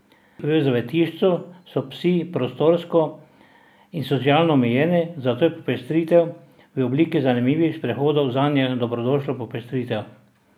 V zavetišču so psi prostorsko in socialno omejeni, zato je popestritev v obliki zanimivih sprehodov zanje dobrodošla popestritev.